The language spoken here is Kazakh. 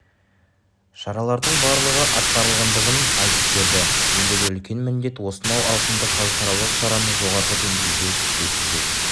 шаралардың барлығы атқарылғандығын айтып берді ендігі үлкен міндет осынау ауқымды халықаралық шараны жоғары деңгейде өткізу